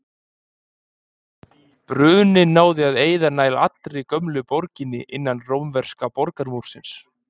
Bruninn náði að eyða nær allri gömlu borginni innan rómverska borgarmúrsins.